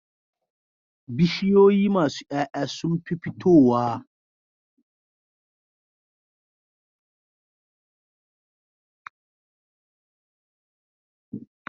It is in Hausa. Bishiyoyi masu Yaya sunfi fitowa a kudancin nageria